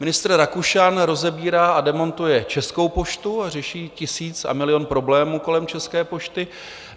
Ministr Rakušan rozebírá a demontuje Českou poštu a řeší tisíc a milion problémů kolem České pošty.